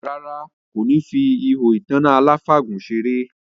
Rárá, kò ní fi ihò ìtanná aláfàgùn seré